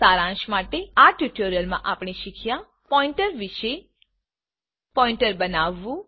સારાંશ માટે આ ટ્યુટોરીયલમાં આપણે શીખ્યા પોઈન્ટર વિષે પોઈન્ટર બનાવવું